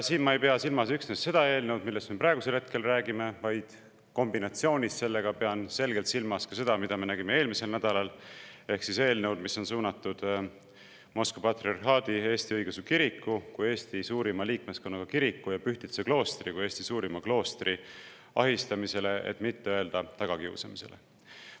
Ma ei pea silmas üksnes seda eelnõu, millest me hetkel räägime, vaid kombinatsioonis sellega pean selgelt silmas ka seda, mida me nägime eelmisel nädalal, ehk eelnõu, mis on suunatud Moskva Patriarhaadi Eesti Õigeusu Kiriku kui Eesti suurima liikmeskonnaga kiriku ja Pühtitsa kloostri kui Eesti suurima kloostri ahistamisele, et mitte öelda tagakiusamisele.